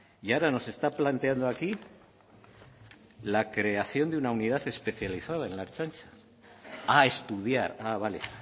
y ahora nos está planteando aquí la creación de una unidad especializada en la ertzaintza a estudiar ah vale